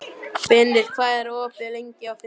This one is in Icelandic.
Benedikt, hvað er opið lengi á fimmtudaginn?